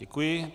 Děkuji.